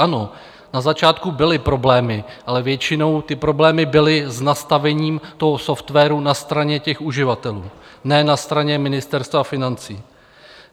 Ano na začátku byly problémy, ale většinou ty problémy byly s nastavením toho softwaru na straně těch uživatelů, ne na straně Ministerstva financí.